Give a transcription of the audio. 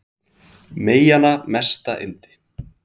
Meyjanna mesta yndi